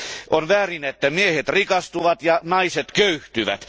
On väärin, että miehet rikastuvat ja naiset köyhtyvät.